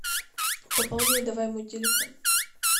пополняй давай мой телефон